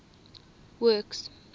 works